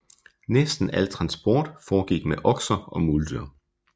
Næsten al transport foregik med okser og muldyr